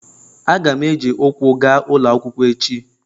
Aga m eji ụkwụ gaa ụlọ akwụkwọ echi.